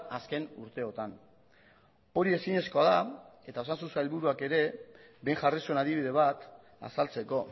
azken urteotan hori ezinezkoa da eta osasun sailburuak ere behin jarri zuen adibide bat azaltzeko